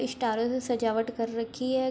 स्टारों से सजावट कर रखी है।